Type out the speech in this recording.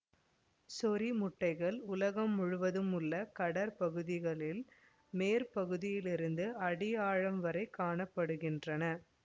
சொறிமுட்டைகள் உலகம் முழுவதும் உள்ள கடற்பகுதிகளில் மேல்பகுதியிலிருந்து அடி ஆழம் வரைக் காண படுகின்றன